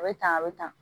A bɛ tan a bɛ tan